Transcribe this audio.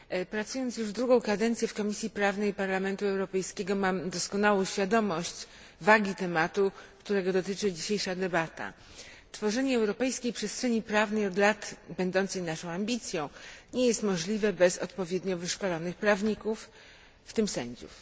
Pracując już drugą kadencję w Komisji Prawnej Parlamentu Europejskiego mam doskonałą świadomość wagi tematu, którego dotyczy dzisiejsza debata. Tworzenie europejskiej przestrzeni prawnej, od lat będącej naszą ambicją, nie jest możliwe bez odpowiednio wyszkolonych prawników, w tym sędziów.